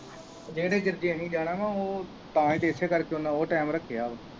ਜਾਣਾ ਵਾ ਉਹ ਤਾਂ ਹੀ ਤੇ ਇਸ ਕਰਕੇ ਉਹਨੇ ਇਹ time ਰੱਖਿਆ ਹੈ।